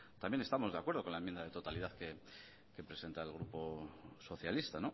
también estamos de acuerdo con la enmienda de totalidad que presenta el grupo socialista